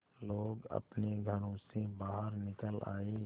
लोग अपने घरों से बाहर निकल आए